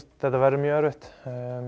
þetta verður mjög erfitt